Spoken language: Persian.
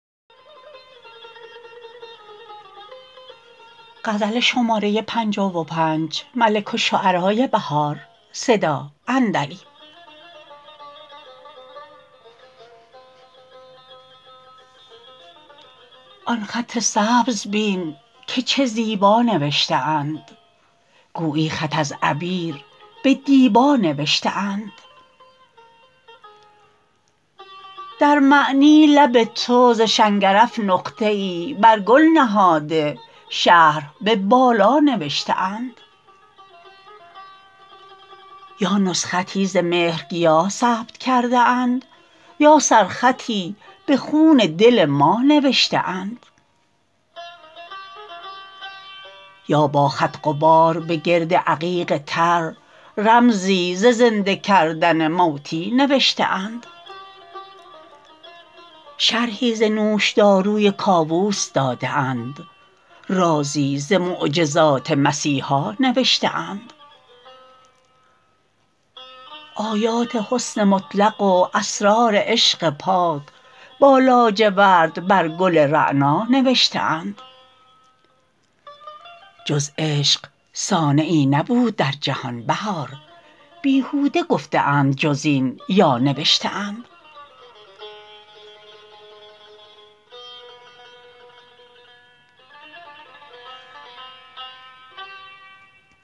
آن خط سبز بین که چه زیبا نوشته اند گویی خط از عبیر به دیبا نوشته اند در معنی لب تو ز شنگرف نقطه ای برگل نهاده شرح به بالا نوشته اند یا نسختی ز مهر گیا ثبت کرده اند یا سر خطی بحون دل ما نوشته اند یا با خط غبار به گرد عقیق تر رمزی ز زنده کردن موتی نوشته اند شرحی ز نوشداروی کاوس داده اند رازی ز معجزات مسیحا نوشته اند آیات حسن مطلق و اسرار عشق پاک با لاجورد بر گل رعنا نوشته اند جز عشق صانعی نبود در جهان بهار بیهوده گفته اند جز این یا نوشته اند